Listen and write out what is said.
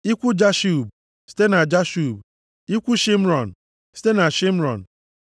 ikwu Jashub, site na Jashub, ikwu Shịmrọn, site na Shịmrọn.